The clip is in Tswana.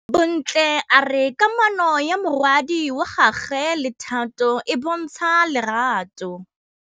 Bontle a re kamanô ya morwadi wa gagwe le Thato e bontsha lerato.